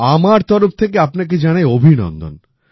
আমার তরফ থেকে আপনাকে জানাই অভিনন্দন